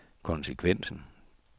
konsekvensen